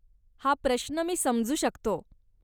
हा प्रश्न मी समजू शकतो.